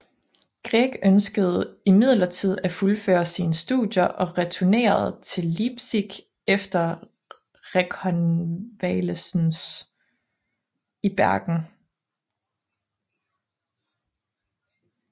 Grieg ønskede imidlertid at fuldføre sine studier og returnerede til Leipzig efter rekonvalesens i Bergen